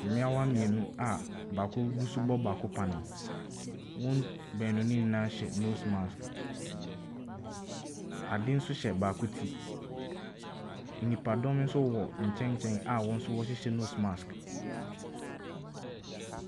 Mmeawa mmienu a baako bi nso rebɔ baako panneɛ. Wɔn baanu no nyinaa hyɛ nose mask. Ade nso hyɛ baako ti. Nnipadɔm nso wɔ nkyɛnkyɛn a wɔn nso wɔhyehyɛ nose mask.